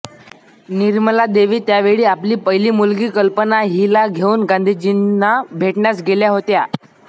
निर्मलादेवी त्यावेळी आपली पहिली मुलगी कल्पना हिला घेऊन गांधीजींना भेटण्यास गेल्या होत्या